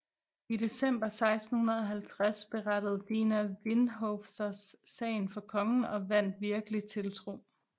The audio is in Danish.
I december 1650 berettede Dina Vinhofvers sagen for kongen og vandt virkelig tiltro